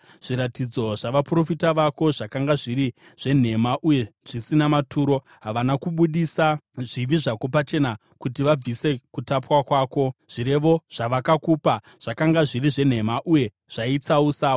Zviratidzo zvavaprofita vako zvakanga zviri zvenhema uye zvisina maturo; havana kubudisa zvivi zvako pachena kuti vabvise kutapwa kwako, zvirevo zvavakakupa zvakanga zviri zvenhema uye zvaitsausa.